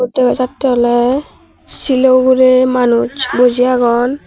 dega jatte ole shilo ugure manuj boji agon.